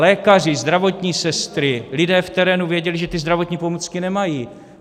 Lékaři, zdravotní sestry, lidé v terénu, věděli, že ty zdravotní pomůcky nemají.